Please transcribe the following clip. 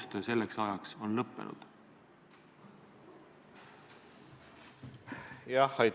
Ei ole vaja väänata küsija sõnu.